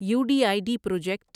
you D I D project